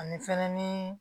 Ani fɛnɛ ni